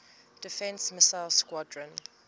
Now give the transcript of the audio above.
defense missile squadron